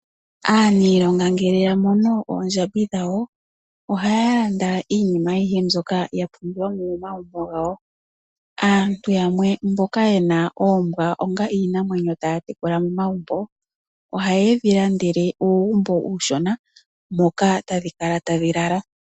Aaniilonga ngele ya mono oondjambi dhawo, ohaya landa iinima ayihe mbyoka ya pumbiwa momagumbo gawo. Aantu yamwe mboka ye na oombwa onga iinamwenyo taya tekula momagumbo, ohaye dhi landele uugumbo uushona moka tadhi kala tadhi lala.